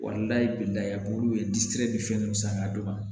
olu ye disi be fɛn minnu san k'a d'u ma